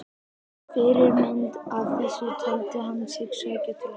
Fyrirmynd að þessu taldi hann sig sækja til Englands.